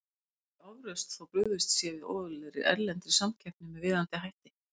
Það er ekki ofrausn þótt brugðist sé við óeðlilegri, erlendri samkeppni með viðeigandi hætti.